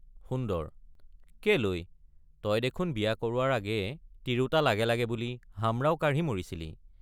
সুন্দৰ—কেলৈ তই দেখোন বিয়া কৰোৱাৰ আগেয়ে তিৰোতা লাগে লাগে বুলি হামৰাও কাঢ়ি মৰিছিলি।